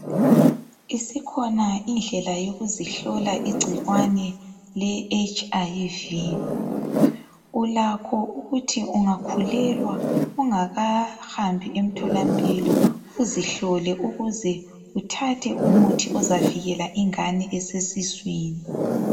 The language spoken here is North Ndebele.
Isikhona indlela yokuzihlola igcikwane leHIV. Ulakho ukuthi ungakhulelwa, ungakahambi emtholampilo. Uzihlole ukuze uthathe umuthi ozavikela ingane esesiswini.